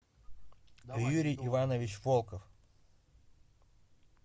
юрий иванович волков